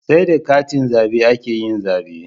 Sai da katin zabe akeyin zabe